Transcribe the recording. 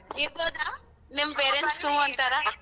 ಇರ್ಬೋದ ನಿಮ್ .